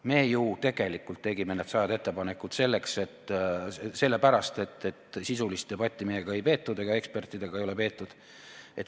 Me ju tegelikult tegime need sajad ettepanekud sellepärast, et sisulist debatti meiega ei peetud, ka ekspertidega ei ole peetud.